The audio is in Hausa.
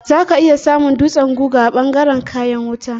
Za ka iya samun dutsen guga a ɓangaren kayan wuta.